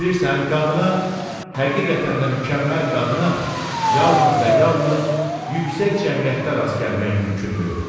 Bilirsən, qadına həqiqətən də mükəmməl qadına yalnız və yalnız yüksək cəmiyyətdə rast gəlmək mümkündür.